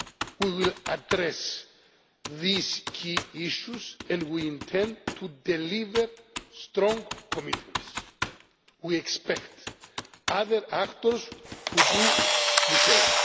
April. We will address these key issues and we intend to deliver strong commitments. We expect other actors to do the